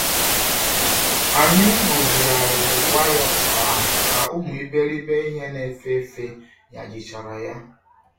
Anyi ruzighariri waya okuko ahu ka umu iberibe ihe na-efe efe ñajichara ya.